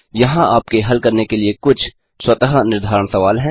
यहाँ आपके हल करने के लिए कुछ स्वतः निर्धारण सवाल हैं